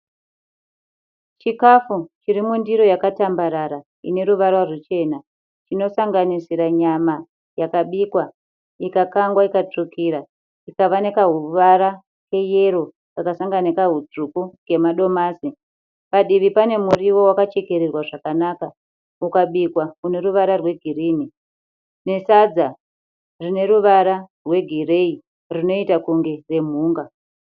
Chikafu chiri mundiro yakatambarara ine ruvara rwuchena chinosanganisira nyama yakabikwa ikakangwa ikatsvukira ikava nekahuvara keyero kakasangana nekahutsvuku kemadomasi. Padivi pane muriwo wakachekererwa zvakanaka ukabikwa une ruvara rwegirinhi nesadza rine ruvara rwegireyi rinoita kunge remhunga.